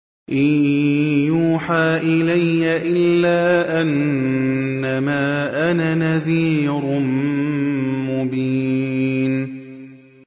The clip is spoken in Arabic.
إِن يُوحَىٰ إِلَيَّ إِلَّا أَنَّمَا أَنَا نَذِيرٌ مُّبِينٌ